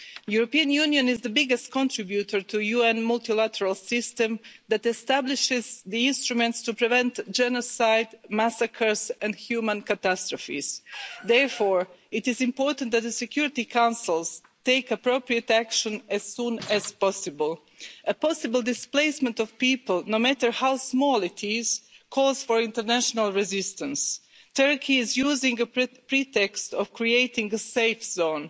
The European Union is the biggest contributor to the UN multilateral system that establishes the instruments to prevent genocide, massacres and human catastrophes. Therefore, it is important that the Security Council take appropriate action as soon as possible. A possible displacement of people, no matter how small it is, calls for international resistance. Turkey is using the pretext of creating a safe zone.